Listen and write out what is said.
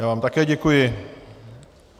Já vám také děkuji.